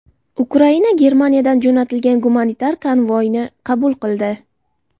Ukraina Germaniyadan jo‘natilgan gumanitar konvoyni qabul qildi.